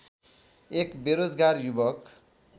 एक बेरोजगार युवक